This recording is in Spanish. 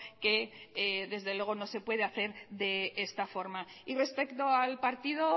que desde luego no se puede hacer de esta forma y respecto al partido